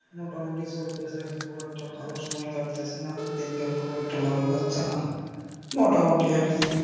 মোটামুটি চলতেছে খুব একটা ভালো সময় কাটতেছে না, দিনকাল খুব একটা ভালো যাচ্ছে না, মোটামুটি আর কি